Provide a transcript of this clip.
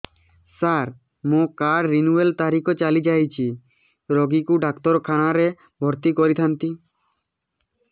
ସାର ମୋର card renew ତାରିଖ ଚାଲି ଯାଇଛି ରୋଗୀକୁ ଡାକ୍ତରଖାନା ରେ ଭର୍ତି କରିଥାନ୍ତି